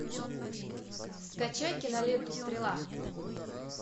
скачай киноленту стрела